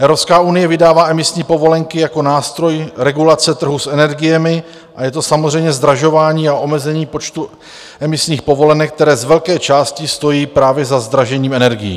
Evropská unie vydává emisní povolenky jako nástroj regulace trhu s energiemi a je to samozřejmě zdražování a omezení počtu emisních povolenek, které z velké části stojí právě za zdražením energií.